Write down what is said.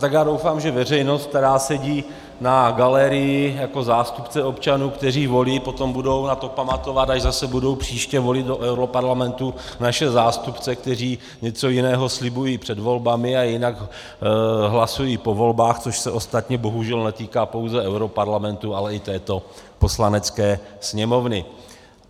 Tak já doufám, že veřejnost, která sedí na galerii jako zástupce občanů, kteří volí, potom budou na to pamatovat, až zase budou příště volit do europarlamentu naše zástupce, kteří něco jiného slibují před volbami a jinak hlasují po volbách, což se ostatně bohužel netýká pouze europarlamentu, ale i této Poslanecké sněmovny.